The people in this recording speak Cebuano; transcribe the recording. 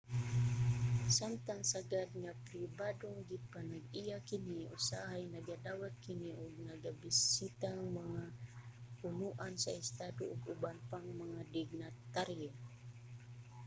samtang sagad nga pribadong gipanag-iya kini usahay nagadawat kini og nagabisitang mga punoan sa estado ug uban pang mga dignitaryo